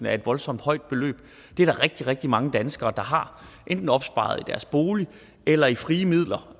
er et voldsomt højt beløb det er der rigtig rigtig mange danskere der har enten opsparet i deres bolig eller i frie midler